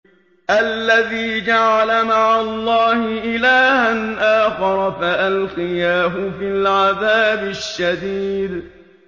الَّذِي جَعَلَ مَعَ اللَّهِ إِلَٰهًا آخَرَ فَأَلْقِيَاهُ فِي الْعَذَابِ الشَّدِيدِ